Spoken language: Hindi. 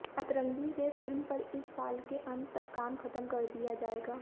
अतरंगी रे फिल्म पर इस साल के अंत तक काम खत्म कर दिया जाएगा